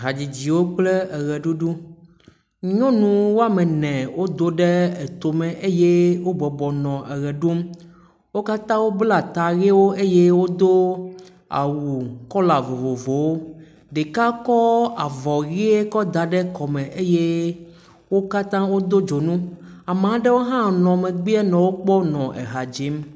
Hadzidziwo kple eʋeɖuɖu, nyɔnu woame ene wodo ɖe eto me eye wobɔbɔ nɔ ʋe ɖum, wo katã wobla ta ʋewo eye wodo awu kɔla vovovowo, ɖeka kɔ avɔ ʋe kɔ da ɖe kɔme eye wo katã wodo dzonu. Ame aɖewo hã nɔ megbeɛ nɔ wo kpɔm, nɔ ha dzim.